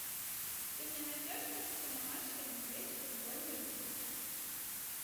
ты мне найдешь картину маша и медведь футбольный выпуск